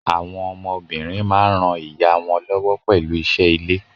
Àwọn ọmọ obìnrin máa ń ràa ìyá wọn lọ́wọ́ pẹ̀lú isé ilé.